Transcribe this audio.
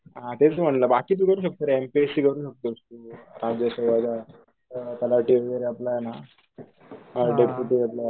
हा तेच म्हणलं बाकीचं करू शकतोरे आम्ही